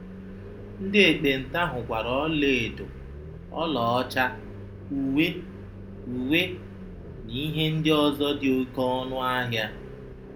Ndị ekpenta hụkwara ọlaedo, ọlaọcha, uwe, uwe, na ihe ndị ọzọ dị oké ọnụ ahịa.